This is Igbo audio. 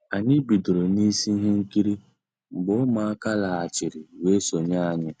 Ànyị́ bidoro nísí i íhé nkírí mgbé Ụmụ́àká lọ́ghàchíré weé sonyéé ànyị́.